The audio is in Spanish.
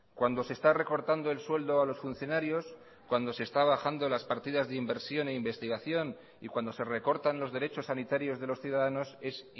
cuando se está recortando el sueldo a los funcionarios cuando se está bajando las partidas de inversión e investigación y cuando se recortan los derechos sanitarios de los ciudadanos es